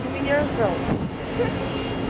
ты меня ждал